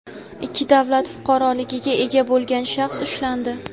ikki davlat fuqaroligiga ega bo‘lgan shaxs ushlandi.